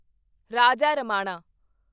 Raja Ramanna